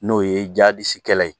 N'o ye jadisi kɛlɛ ye.